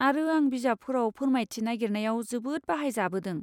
आरो आं बिजाबफोराव फोरमायथि नागिरनायाव जोबोद बाहायजाबोदों।